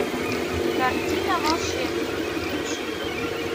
картина волшебники включи мне